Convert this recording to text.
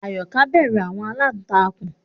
Ayoka bẹru àwọn àlàntakùn